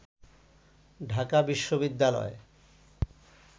ঢাকা বিশ্ববিদ্যালয়